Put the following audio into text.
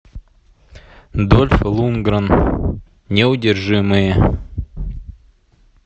дольф лундгрен неудержимые